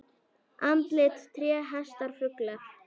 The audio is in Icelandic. Andlit, tré, hestar, fuglar.